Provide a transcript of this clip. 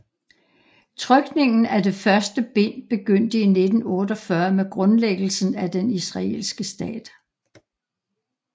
Trykningen af det første bind begyndte i 1948 med grundlæggelsen af den israelske stat